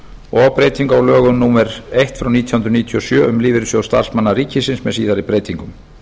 og breytingu á lögum númer eitt nítján hundruð níutíu og sjö um lífeyrissjóð starfsmanna ríkisins með síðari breytingum